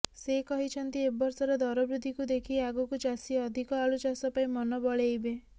ସେ କହିଛନ୍ତି ଏବର୍ଷର ଦରବୃଦ୍ଧିକୁ ଦେଖି ଆଗକୁ ଚାଷୀ ଅଧିକ ଆଳୁ ଚାଷ ପାଇଁ ମନ ବଳେଇବେ